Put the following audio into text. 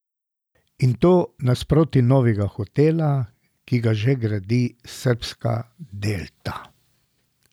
In to nasproti novega hotela, ki ga že gradi srbska Delta.